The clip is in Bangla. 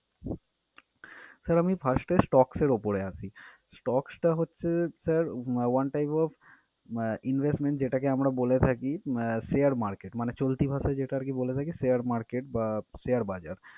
Sir আমি first এ stocks এর উপরে আসি। stocks টা হছে sir one type of আহ investment যেটাকে আমরা বলে থাকি আহ share market মানে চলতি ভাষায় যেটা আরকি বলে থাকি share market বা share বাজার।